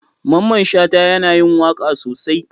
Mamman Shata yana yin waka sosai.